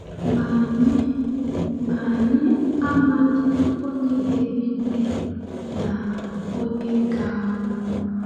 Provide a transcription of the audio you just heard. Ma anyị Ma anyị amaghị onye ga-ebi ndụ na onye ga-anwụ.